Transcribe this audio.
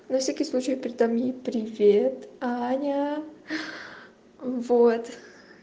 на всякий случай передам привет аня вот